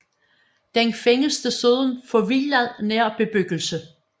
Den findes desuden forvildet nær bebyggelse